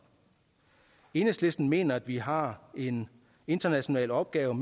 enhedslisten mener at vi har en international opgave